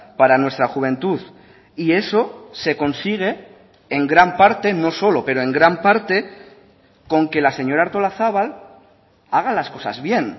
para nuestra juventud y eso se consigue en gran parte no solo pero en gran parte con que la señora artolazabal haga las cosas bien